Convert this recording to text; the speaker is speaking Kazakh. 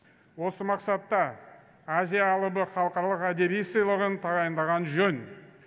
осы мақсатта азия алыбы халықаралық әдеби сыйлығын тағайындаған жөн